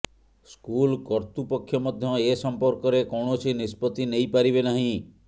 school କର୍ତ୍ତୃପକ୍ଷ ମଧ୍ୟ ଏ ସମ୍ପର୍କରେ କୌଣସି ନିଷ୍ପତ୍ତି ନେଇପାରିବେ ନାହିଁ